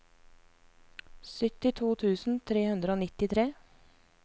syttito tusen tre hundre og nittitre